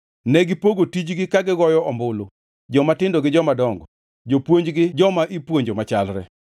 Negipogo tijgi ka gigoyo ombulu, jomatindo gi jomadongo, jopuonj gi joma ipuonjo machalre.